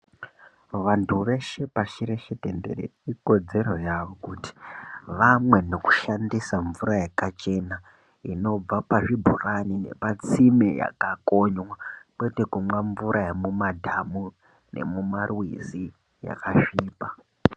Vantu veshe pashi reshe tenderere ikodzero yavo kuti vamwe nekushandisa mvura yakachena inobva pazvibhorani nepatsime yakakonywa kwete kumwa mvura yemumadhamu nemumarwizi yakasvipa.